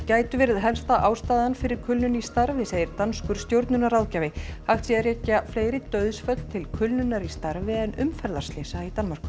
gætu verið helsta ástæðan fyrir kulnun í starfi segir danskur stjórnunarráðgjafi hægt sé að rekja fleiri dauðsföll til kulnunar í starfi en umferðarslysa í Danmörku